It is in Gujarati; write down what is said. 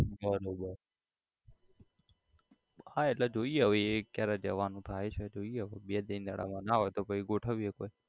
બરોબર હા એટલે જોઈએ હવે એ ક્યારે જવાનું થાય છે જોઈએ હવે બે ત્રણ દાડામાં ના હોય તો પછી ગોઠવીએ કઈક